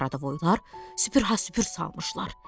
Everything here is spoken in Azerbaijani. Qarabovoylar süpürha süpür salmışlar.